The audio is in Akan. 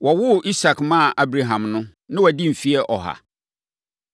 Wɔwoo Isak maa Abraham no, na wadi mfeɛ ɔha.